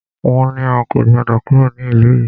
Wọ́n ní a kò gbọdọ̀ kúrò ní ìlú yìí!